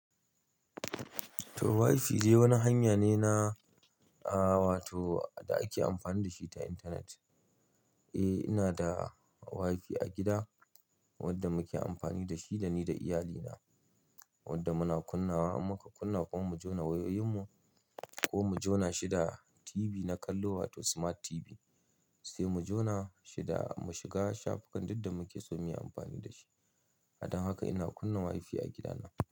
To WiFi wani hanya ne na, aa wato da ake amfani da shi ta intanet. Eh ina da WiFi a gida wanda muke amfani da shi da ni da iyalina wanda muna kunnawa in muka kunna kuma mu jona wayoyin mu ko mu jona shi da TV na kallo wato Smart TV. Sai mu jona shi da mu shiga shafukan duk da muke so muyi amfani dashi. Dan haka ina kunna WiFi a gidana.